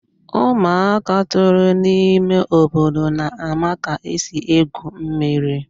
ụmụaka toro n'ime obodo na-ama ka esi egwu mmiri.